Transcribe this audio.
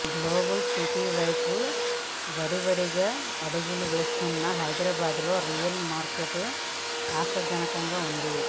global city వైపు వడివడిగా అడుగులు వేస్తున్న హైదరాబాద్ లో రియల్ మార్కెట్ ఆశాజనకంగా ఉంది